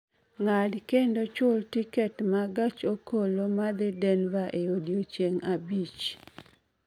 ng'ad kendo chulo tiket ma gach okoloma dhi Denver e odiechieng' abich